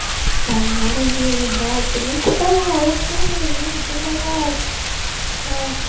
там магазин убраться никуда уху жизнь удалась да